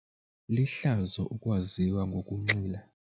Lihlazo ukwaziwa ngokunxila.